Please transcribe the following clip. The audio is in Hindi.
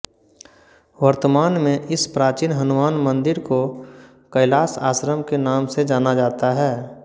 वर्तमान में इस प्राचीन हनुमान मंदिर को कैलाश आश्रम के नाम से जाना जाता है